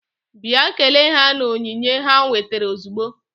Bịa kelee ha na onyinye ha wetara ozugbo!